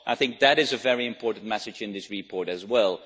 I think that is a very important message in this report as well.